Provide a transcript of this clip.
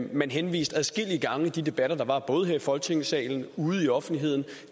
man henviste adskillige gange i de debatter der var både her i folketingssalen ude i offentligheden